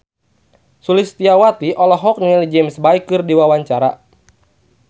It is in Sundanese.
Sulistyowati olohok ningali James Bay keur diwawancara